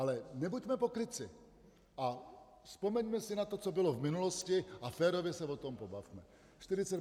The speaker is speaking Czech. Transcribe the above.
Ale nebuďme pokrytci a vzpomeňme si na to, co bylo v minulosti, a férově se o tom pobavme.